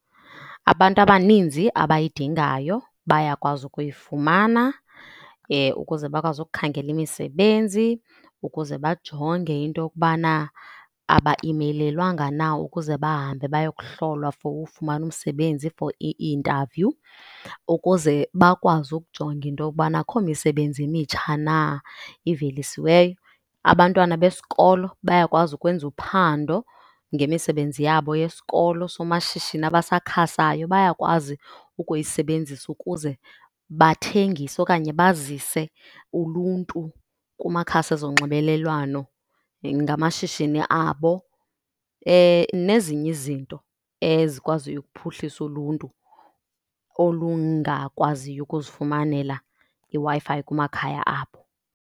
Abantu abaninzi abayidingayo bayakwazi ukuyifumana ukuze bakwazi ukukhangela imisebenzi, ukuze bajonge into yokubana abaimeyilelwanga na ukuze bahambe bayokuhlolwa for ufumana umsebenzi for i-interview, ukuze bakwazi ukujonga into yokubana akukho misebenzi emitsha na ivelisiweyo. Abantwana besikolo bayakwazi ukwenza uphando ngemisebenzi yabo yesikolo, somashishini abasakhasayo bayakwazi ukuyisebenzisa ukuze bathengise okanye bazise uluntu kumakhasi zonxibelelwano ngamashishini abo nezinye izinto ezikwaziyo ukuphuhlisa uluntu olungakwaziyo ukuzifumanela iWi-Fi kumakhaya abo.